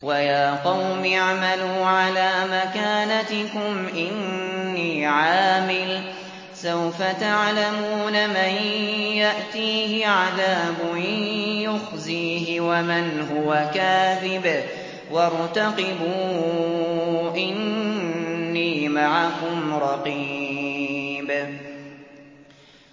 وَيَا قَوْمِ اعْمَلُوا عَلَىٰ مَكَانَتِكُمْ إِنِّي عَامِلٌ ۖ سَوْفَ تَعْلَمُونَ مَن يَأْتِيهِ عَذَابٌ يُخْزِيهِ وَمَنْ هُوَ كَاذِبٌ ۖ وَارْتَقِبُوا إِنِّي مَعَكُمْ رَقِيبٌ